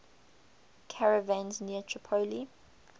caravans near tripoli